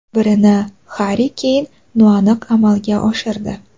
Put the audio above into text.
Birini Harri Keyn noaniq amalga oshirdi.